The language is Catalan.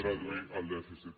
reduir el dèficit